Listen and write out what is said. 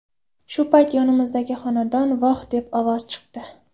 Shu payt yonimizdagi xonadan ‘voh’ degan ovoz chiqdi.